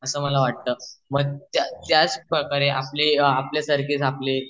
असं मला वाटतंच मग त्याच प्रकारे आपले व आपल्यासारखेच आपले